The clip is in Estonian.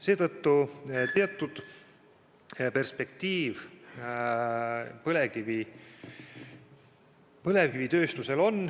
Seetõttu teatud perspektiiv põlevkivitööstusel on.